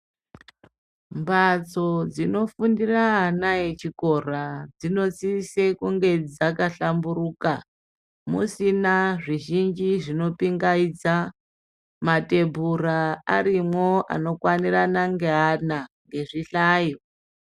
Mphatso dzinofundira ana echikora, dzinosise kunge dzaka hlamburuka, musina zvizhinji zvinopingaidza, matebhura arimwo anokwanirana ngeana ngezvihlayo.